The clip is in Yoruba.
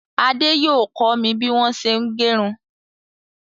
Ade yóò kọ mi bí wọn ṣé ń gẹrún.